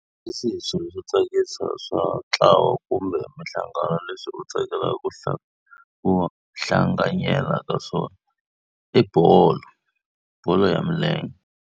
Hi swihi swilo swo tsakisa swa ntlawa kumbe mihlangano leswi u tsakelaka ku ku hlanganyela ka swona? I bolo, bolo ya milenge.